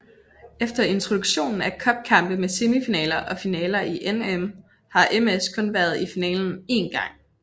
Efter introduktionen af cupkampe med semifinaler og finaler i NM har MS kun været i finalen en gang